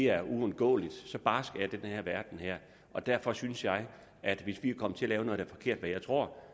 er uundgåeligt så barsk er den her verden og derfor synes jeg at hvis vi er kommet til at der er forkert hvad jeg tror